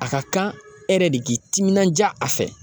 A ka kan e yɛrɛ de k'i timinanja a fɛ.